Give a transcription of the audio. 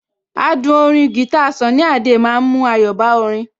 Adùn orin guitar Sunny Adé ma ń mú ayọ̀ bá orin